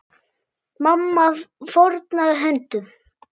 Mamma fórnaði höndum.